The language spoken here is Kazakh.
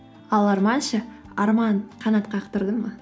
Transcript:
ал арман ше арман қанат қақтырды ма